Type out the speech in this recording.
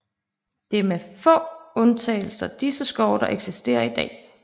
Det er med få undtagelser disse skove der eksisterer i dag